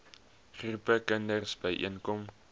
groepe kinders byeenkom